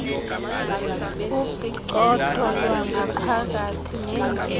upicotho lwangaphakathi nendyebo